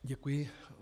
Děkuji.